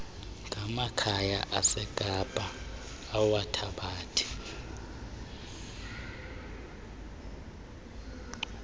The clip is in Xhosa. ngamakhaya asekapa awathabathe